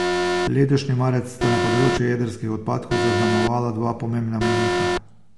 Letošnji marec sta na področju jedrskih odpadkov zaznamovala dva pomembna mejnika.